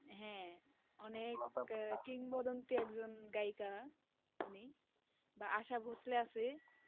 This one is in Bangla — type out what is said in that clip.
হ্যাঁ, অনেক আহ কিংবদন্তি একজন গায়িকা উনি বা আশা ভোঁসলে আছে